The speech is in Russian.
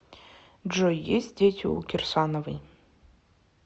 джой есть дети у кирсановой